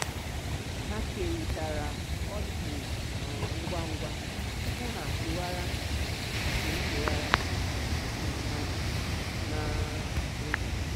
ha keritara um ọchị ngwa ngwa tupu ha um gawara nke gawara nke ha n'ụzọ. um